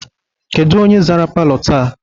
Kedu onye zara palọ taa?